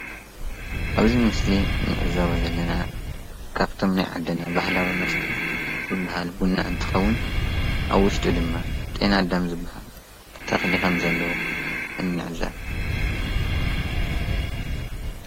ኣብዚ ምስሊ ንዕዘቦ ዘለና ካብቶም ናይ ዓድና ባህላዊ መስተ ዝባሃሉ ቡና እንትኸውን ኣብ ውሽጡ ድማ ጤናኣዳም ዝባሃል ተኽሊ ከምዘለዎ ንዕዘብ፡፡